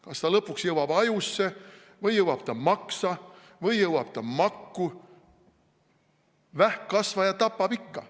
Kas ta lõpuks jõuab ajusse või jõuab ta maksa või jõuab ta makku – vähkkasvaja tapab ikka.